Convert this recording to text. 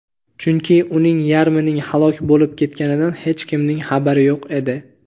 chunki uning yarmining halok bo‘lib ketganidan hech kimning xabari yo‘q edi.